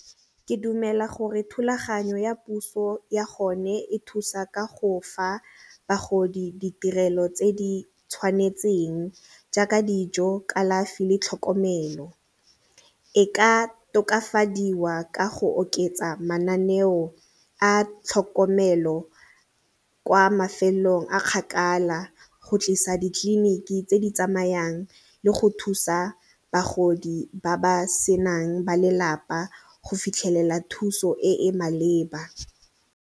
Ke dumela gore thulaganyo ya puso ya gone e thusa ka go fa bagodi ditirelo tse di tshwanetseng jaaka dijo, kalafi le tlhokomelo. E ka tokafadiwa ka go oketsa mananeo a tlhokomelo kwa mafelong a kgakala go tlisa ditleliniki tse di tsamayang le go thusa bagodi ba ba senang ba lelapa go fitlhelela thuso e e maleba.